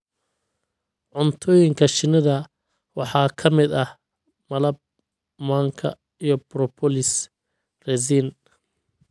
Cuntooyinka shinnida waxaa ka mid ah malab, manka, iyo propolis (resin).